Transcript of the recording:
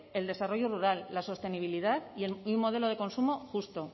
el desarrollo rural la sostenibilidad y un modelo de consumo justo